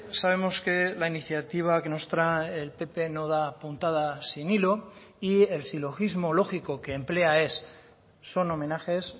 sabemos que la iniciativa que nos trae el pp no da puntada sin hilo y el silogismo lógico que emplea es son homenajes